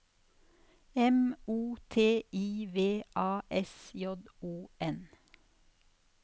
M O T I V A S J O N